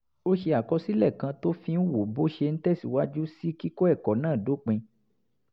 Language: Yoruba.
ó ṣe àkọsílẹ̀ kan tó fi ń wo bó ṣe ń tẹ̀síwájú sí kíkọ́ ẹ̀kọ́ náà dópin